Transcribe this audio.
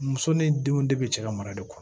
Muso ni denw de bɛ cɛ ka mara de kɔnɔ